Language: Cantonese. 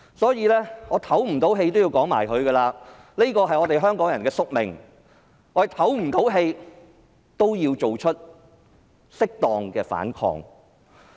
即使我透不過氣也要說下去，這是我們香港人的宿命，但我也要作出適當的反抗。